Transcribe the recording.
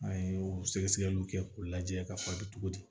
An ye o sɛgɛsɛgɛliw kɛ k'u lajɛ ka faden cogo di